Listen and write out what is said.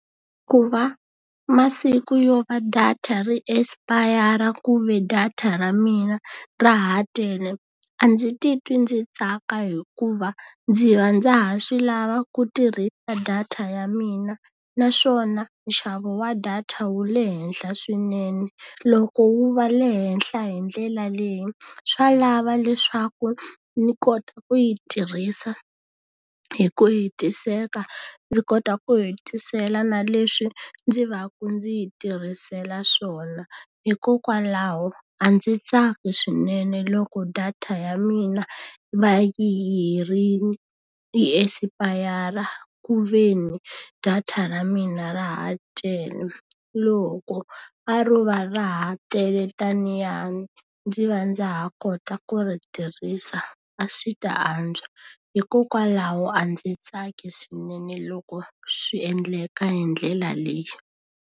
Ku va masiku yo va data ri espayara ku ve data ra mina ra ha tele, a ndzi titwi ndzi tsaka hikuva ndzi va ndza ha swi lava ku tirhisa data ya mina. Naswona nxavo wa data wu le henhla swinene, loko wu va le henhla hi ndlela leyi swa lava leswaku ni kota ku yi tirhisa hi ku hetiseka. Ndzi kota ku hetisela na leswi ndzi va ku ndzi yi tirhisela swona. Hikokwalaho a ndzi tsaki swinene loko data ya mina yi va yi herile espayara ku ve ni data ra mina ra ha tele. Loko a ro va ra ha tele tanaya ndzi va ndza ha kota ku ri tirhisa a swi ta antswa, hikokwalaho a ndzi tsaki swinene loko swi endleka hi ndlela leyi.